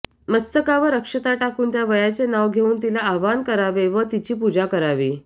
मस्तकावर अक्षता टाकून त्या वयाचे नाव घेवून तिला आवाहन करावे व तिची पूजा करावी